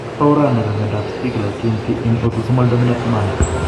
Orani bo myondap Stickler kiinti en autosomal dominant manner.